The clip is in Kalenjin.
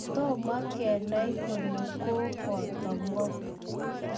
Tomo kenay kole koboto ngo